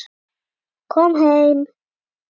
Kom heim!